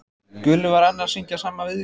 Gulli var enn að syngja sama viðlagið.